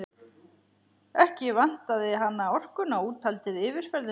Ekki vantaði hana orkuna, úthaldið, yfirferðina.